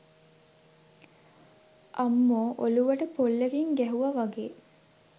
අම්මෝ ඔලුවට පොල්ලකින් ගැහුව වගේ